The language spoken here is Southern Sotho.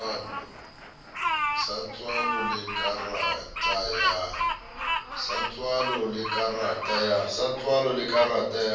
sa tswalo le karata ya